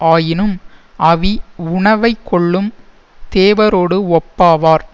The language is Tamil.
ஆயினும் அவி உணவைக் கொள்ளும் தேவரோடு ஒப்பாவார்